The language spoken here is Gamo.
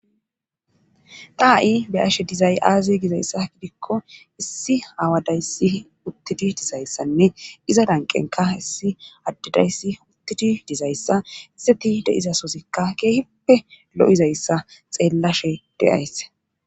Ta ha7i beyashe dizay aaze gizayssa gidikko issi haawadayssi uttidi dizayssanne iza danqenka hissi addedayssi uttidi dizayssa isseti deizasozikka keehippe lo7izayssa xeellashe deaysse.